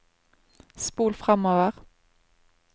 spol framover